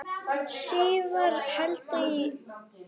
Svíar héldu í